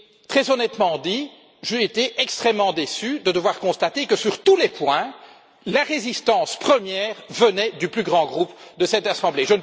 Très honnêtement, j'ai été extrêmement déçu de devoir constater que, sur tous les points, la résistance première venait du plus grand groupe de cette Assemblée.